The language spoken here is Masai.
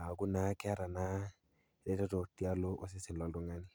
aaku naa keata ereteto tialo osesen loltung'ani.